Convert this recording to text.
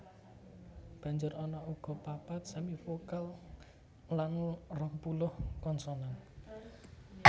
Banjur ana uga papat semivokal lan rongpuluh konsonan